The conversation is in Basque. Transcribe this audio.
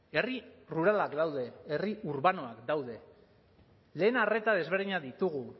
herri ruralak daude herri urbanoak daude lehen arreta desberdinak ditugu